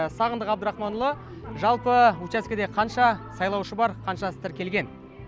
сағындық абдрахманұлы жалпы учаскеде қанша сайлаушы бар қаншасы тіркелген